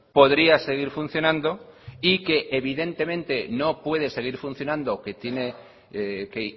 podría seguir funcionando y que evidentemente no puede seguir funcionando que tiene que